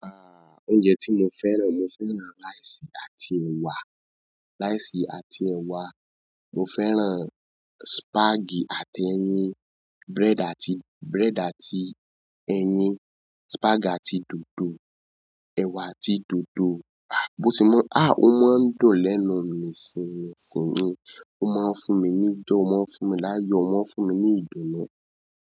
Ah! Oúnjẹ tí mo fẹ́ràn, mo fẹ́ràn rice àti ẹ̀wà, rice àti ẹ̀wà, mo fẹ́ràn spag àti ẹyin, bread àti, bread àti ẹyin, spag àti dòdò, ẹ̀wà àti dòdò. Ah! Bó ṣe mọ ń? Ah! Ó ma ń dùn lẹ́nu mìsìn mìsìn ni, ó máa ń fún mi ní joy, ó máa ń fún mi láyọ̀, ó máa ń fún mi ní ìdùnnú.